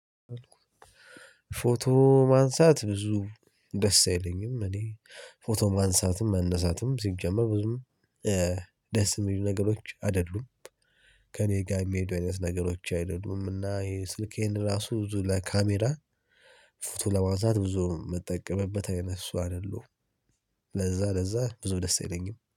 ፎቶ ማንሳት ብዙ ደስ አይለኝም። እኔ ፎቶ ማንሳትም መነሳትም ሲጀመር ብዙም ደስ የሚሉ ነገሮች አይደሉም። ከእኔ ጋር የሚሄዱ አይነት ነገሮች አይደሉምና ይሄ ስልኬን ራሱ ብዙ ለካሜራ ፎቶ ለማንሳት ብዙ የምጠቀምበት አይነት ሰው አይደለሁም። ለዛ ለዛ ብዙ ደስ አይለኝም